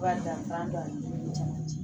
Wari danfa don a ni ɲɔgɔn cɛ